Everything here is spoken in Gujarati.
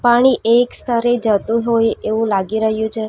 પાણી એક સ્થરે જતો હોય એવું લાગી રહ્યું છે.